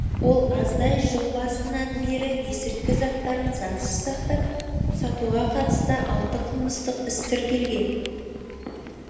ол аздай жыл басынан бері есірткі заттарын заңсыз сақтап сатуға қатысты алты қылмыстық іс тіркелген